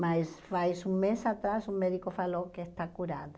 Mas faz um mês atrás um médico falou que está curada.